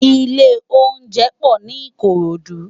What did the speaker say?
Ilé óunjẹ pò ni Ikorodu